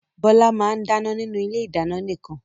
Bọ́lá máa ń dáná nínú ilé-ìdáná nìkan.